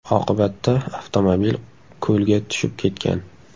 Oqibatda avtomobil ko‘lga tushib ketgan.